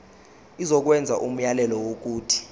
izokwenza umyalelo wokuthi